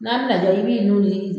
N'an bɛna dɔrɔnw i b'i nu meleke kè.